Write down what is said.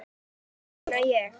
Þessu fagna ég.